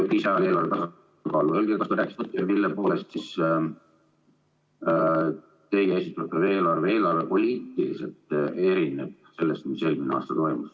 Palun öelge, kas ta rääkis tõtt ja mille poolest siis teie esitatud eelarve eelarvepoliitiliselt erineb sellest, mis eelmisel aastal toimus.